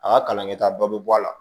A ka kalan kɛ ta dɔ bɛ bɔ a la